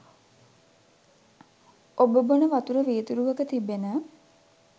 ඔබ බොන වතුර වීදුරුවක තිබෙන